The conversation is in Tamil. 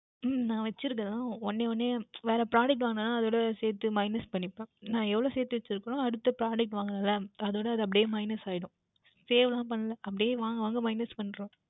உம் நான் வைத்து இருக்கின்றேன் ஒன்றே ஒன்று வேர் product வாங்கினால் அதுற்குட சேர்த்து minus பண்ணிக்கொள்ளுவேன் எவ்வளவு சேர்த்து வைத்து இருக்கிறானோ அடுத்த product வாங்குவேன் அல்லவா அதோட அது அப்படியே minus ஆகிவிடும் Save எல்லாம் பண்ணவில்லை அப்படியே வாங்கி minus பண்ணிவிடுவேன்